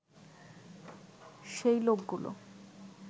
সেই লোকগুলো